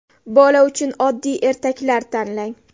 Bola uchun oddiy ertaklar tanlang.